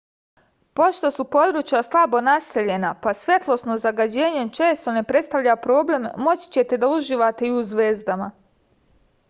pošto su područja slabo naseljena pa svetlosno zagađenje često ne predstavlja problem moći ćete da uživate i u zvezdama